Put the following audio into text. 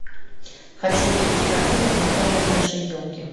хочу увидеть картину знакомые нашей елки